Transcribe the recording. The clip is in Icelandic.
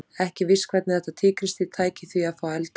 Ekki er víst hvernig þetta tígrisdýr tæki því að fá eldaðan mat.